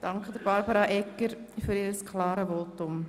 Ich danke Regierungsrätin Egger für ihr klares Votum.